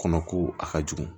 Kɔnɔ ko a ka jugu